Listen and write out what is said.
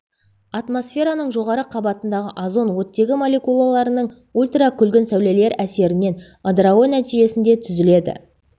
атмосфераның жоғары қабатындағы озон оттегі молекулаларының ультракүлгін сәулелер әсерінен ыдырауы нәтижесінде түзіледі